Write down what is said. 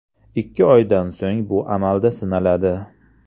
Ikki oydan so‘ng bu amalda sinaladi.